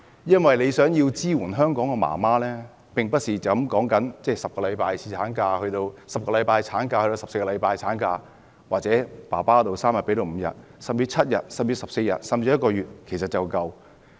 如果想支援香港媽媽，並不只是將產假由10星期增至14星期或侍產假由3天增至5天，甚至7天、14天或1個月就足夠。